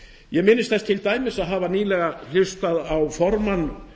ég minnist þess til dæmis að hafa nýlega hlustað á formann